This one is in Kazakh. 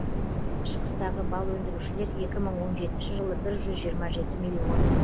шығыстағы бал өндірушілер екі мың он жетінші жылы бір жүз жиырма жеті миллион